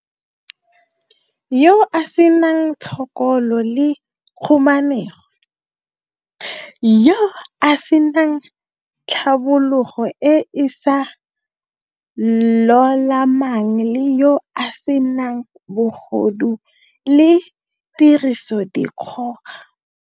yo a senang tshokolo le khumanego, yo a se nang tlhabologo e e sa lolamang le yo a se nang bogodu le tirisodikgoka.